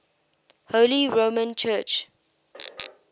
holy roman church